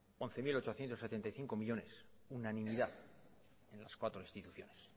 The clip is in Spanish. once mil ochocientos setenta y cinco millónes unanimidad en las cuatro instituciones